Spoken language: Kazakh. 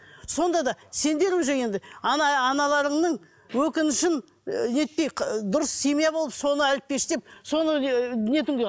сонда да сендер уже енді аналарының өкінішін і нетпей дұрыс семья болып соны әлпештеп соны нетіңдер